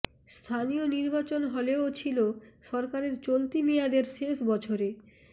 স্থানীয় নির্বাচন হলেও ছিল সরকারের চলতি মেয়াদের শেষ বছরে